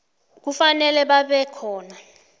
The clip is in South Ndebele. kufanele babe khona